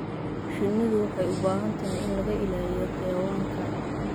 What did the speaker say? Shinnidu waxay u baahan tahay in laga ilaaliyo xayawaanka.